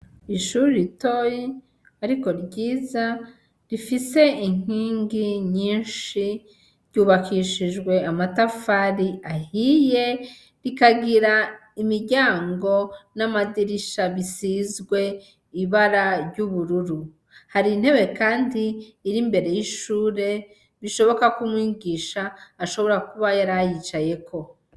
Ishuri ritoyi ,ariko ryiza rifise inkingi nyinshi, ryubakishijwe amatafari ahiye, rikagira imiryango n'amadirisha bisizwe ibara ry'ubururu ,har'intebe Kandi iri imbere y'ishure ,bishoboka k'umwigisha ashobora kuba yarayicayeko.